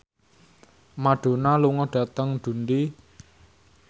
Madonna lunga dhateng Dundee